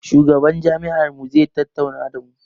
Shugaban jami'ar mu zai tattauna da mu